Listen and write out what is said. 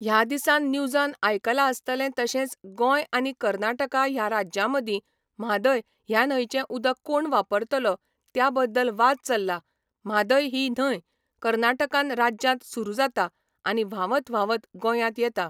ह्या दिसांन न्यूजान आयकलां आसतले तशेंच गोंय आनी कर्नाटका ह्या राज्यांमदी म्हादय ह्या न्हंयचे उदक कोण वापरतलो त्या बद्दल वाद चल्ला म्हादय ही न्हय कर्नाटकान राज्यांत सुरू जाता आनी व्हांवत व्हांवत गोंयांत येता